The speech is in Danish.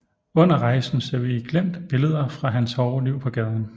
Under rejsen ser vi i glimt billeder fra hans hårde liv på gaden